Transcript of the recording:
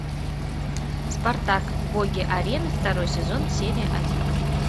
спартак боги арены второй сезон серия один